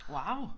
Wow